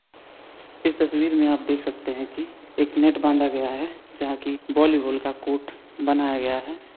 इस तस्वीर में आप देख सकते हैं की यहाँ एक नेट बांधा गया है जहाँ की वॉली बाल का कोट बनाया गया है।